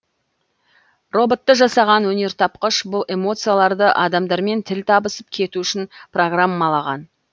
роботты жасаған өнертапқыш бұл эмоцияларды адамдармен тіл табысып кету үшін программалаған